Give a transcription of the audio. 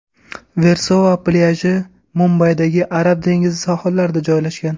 Versova plyaji Mumbaydagi Arab dengizi sohillarida joylashgan.